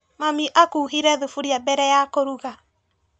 Mami akuhire thuburia mbere ya kũruga.